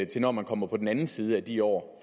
til når man kommer på den anden side af de år